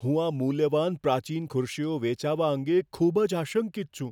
હું આ મૂલ્યવાન પ્રાચીન ખુરશીઓ વેચાવા અંગે ખૂબ જ આશંકિત છું.